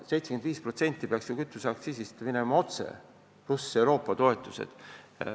75% kütuseaktsiisist peaks minema otse teedesse, pluss Euroopa toetused.